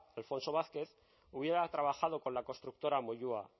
alfonso vázquez hubiera trabajado con la constructora moyua